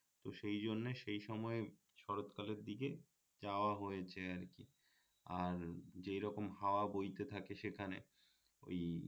তো সেই জন্যে সেই সময়ে শরৎ কালের দিকে যাওয়া হয়েছে আর কি আর যেরকম হাওয়া বইতে থাকে সেখানে ওই